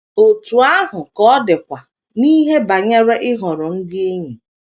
Otú ahụ ka ọ dịkwa n’ihe banyere ịhọrọ ndị enyi.